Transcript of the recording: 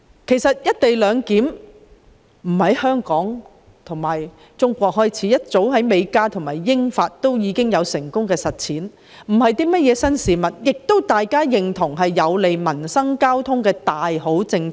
事實上，"一地兩檢"安排並非始於香港及中國，早已在美加及英法成功實踐，並非甚麼新事物，並廣獲認同為有利民生及人員交流的大好政策。